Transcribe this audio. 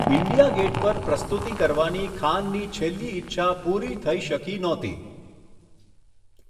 India Gate પર પ્રસ્તુતિ કરવાની ખાનની છેલ્લી ઈચ્છા પૂરી થઈ શકી નહોતી.